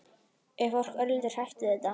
Er fólk örlítið hrætt við þetta?